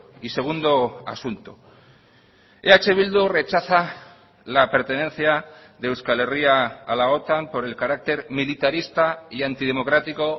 y segundo asunto eh bildu rechaza la pertenencia de euskal herria a la otan por el carácter militarista y antidemocrático